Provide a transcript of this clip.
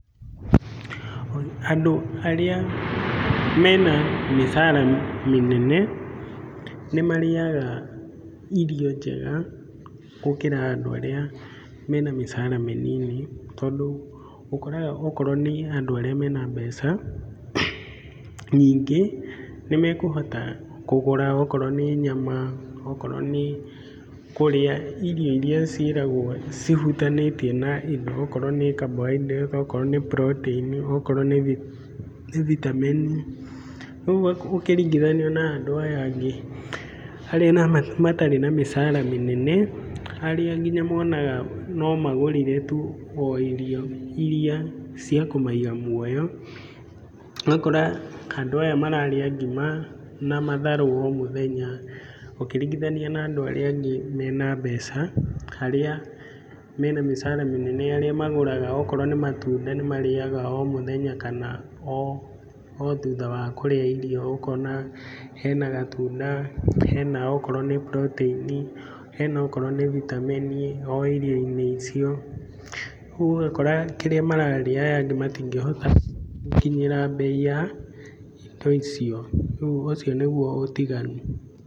Andũ arĩa mena mĩcara mĩnene nĩ marĩaga irio njega gũkĩra andũ arĩa mena mĩcara mĩnini, tondũ ũkoraga okorwo nĩ andũ arĩa mena mbeca nyingĩ nĩmekũhota kũgũra okorwo nĩ nyama, okorwo nĩ kũrĩa irio iria ciĩragwo cihutanĩtie na indo okorwo nĩ carbohydrates okorwo nĩ protein okorwo nĩ vitamin. Rĩu ũkĩringithania na andũ aya angĩ arĩa matarĩ na mĩcara mĩnene, arĩa nginya monaga no magũrire tu o irio iria cia kũmaiga muoyo, ũgakora andũ aya mararĩa ngima na matharũ o mũthenya ũkĩringithania na andũ arĩa angĩ mena mbeca, arĩa mena mĩcara mĩnene arĩa magũraga okorwo nĩ matunda nĩ marĩaga o mũthenya kana o, o thutha wa kũrĩa irio ũkona hena gatunda, hena okorwo nĩ protein, hena okrowo nĩ vitamin o irio-inĩ icio. Rĩu ũgakora kĩrĩa mararĩa aya angĩ matingĩhota gũkinyĩra mbei ya indo icio. Rĩu ũcio nĩguo ũtiganu.